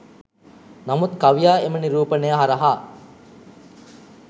නමුත් කවියා එම නිරූපණය හරහා